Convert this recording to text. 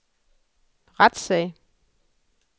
retssag